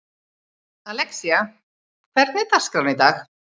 Alexía, hvernig er dagskráin í dag?